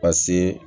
Paseke